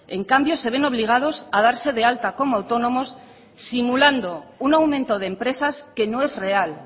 en cambio se ven obligados a darse de alta como autónomos simulando un aumento de empresas que no es real